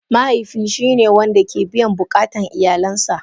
Mahaifi shine wanda ke biyan bukatan iyalansa.